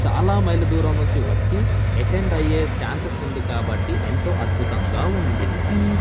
చాలా మైళ్ళ దూరం నుంచి వచ్చి ఎటెండ్ అయ్యే ఛాన్సెస్ ఉంది కాబట్టి ఎంతో అద్భుతంగా ఉంది.